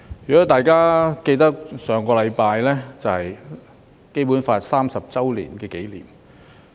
如果大家記得，上星期是《基本法》頒布30周年紀念。